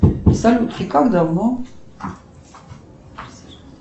салют и как давно